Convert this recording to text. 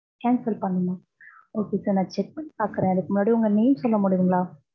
cancel பண்ணனுமா. okay sir நான் check பன்னி பாக்ரன். அதுக்கு முன்னாடி உங்க name சொல்ல முடியுங்கலா?